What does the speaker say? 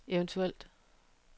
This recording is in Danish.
eventuelt